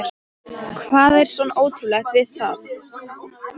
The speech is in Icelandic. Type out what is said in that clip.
Hvað er svona ótrúlegt við það?